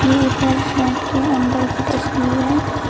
ये एक रेस्टोरेंट के अंदर की तस्वीर है।